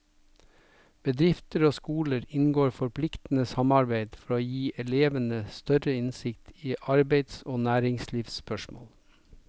Bedrifter og skoler inngår forpliktende samarbeid for å gi elevene større innsikt i arbeids og næringslivsspørsmål.